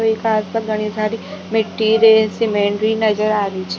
ईका आस पास घडी सारी मिट्टी रेत सीमेन्ट भी नजर आ री छ --